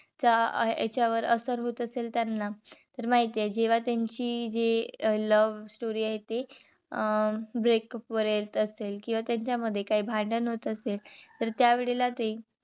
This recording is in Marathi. चा याच्यावर होत असेल त्यांना. तर माहितय जेव्हा त्यांची जी love story आहे ती break up वर यायचं असेल. किंवा त्यांच्या मध्ये काही भांडण होत असेल तर त्या वेळेला ते